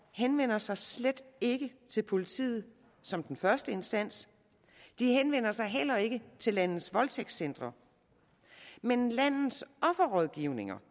henvender sig slet ikke til politiet som den første instans de henvender sig heller ikke til landets voldtægtscentre men landets offerrådgivninger